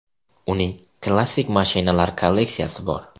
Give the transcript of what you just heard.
Uning klassik mashinalar kolleksiyasi bor.